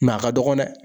a ka dɔgɔ dɛ